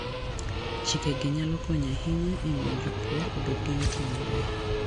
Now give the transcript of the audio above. Chikegi nyalo konyo ahinya e miyo jopur obed gi yuto maber.